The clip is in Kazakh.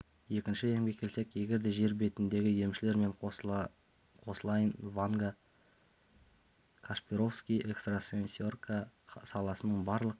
екінші емге келсек егер де жер бетіндегі емшілер мен қосылайын ванга кашпировский экстрасенсорика саласының барлық